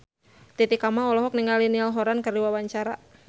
Titi Kamal olohok ningali Niall Horran keur diwawancara